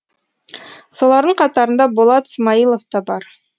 солардың қатарында болат смаилов та бар